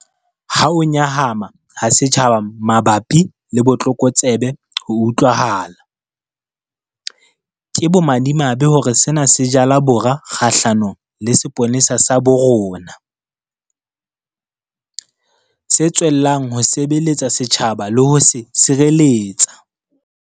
Ha ho nyahama ha setjhaba mabapi le botlokotsebe ho utlwahala, ke bomadimabe hore sena se jala bora kgahlanong le sepolesa sa bo rona, se tswellang ho sebeletsa setjhaba le ho se sireletsa.